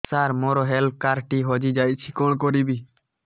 ସାର ମୋର health card ଟି ହଜି ଯାଇଛି କଣ କରିବି